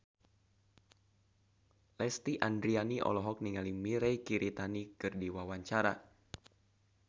Lesti Andryani olohok ningali Mirei Kiritani keur diwawancara